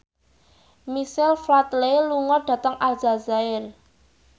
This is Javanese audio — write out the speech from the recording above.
Michael Flatley lunga dhateng Aljazair